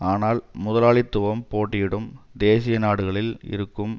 ஆனால் முதலாளித்துவம் போட்டியிடும் தேசிய நாடுகளில் இருக்கும்